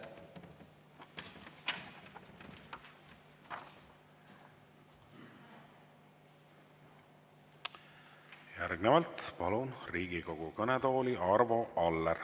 Järgnevalt palun Riigikogu kõnetooli Arvo Alleri.